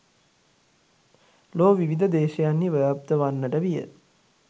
ලොව විවිධ දේශයන්හි ව්‍යාප්ත වන්නට විය.